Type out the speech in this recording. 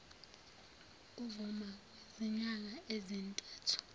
emuva kwezinyanga ezintathu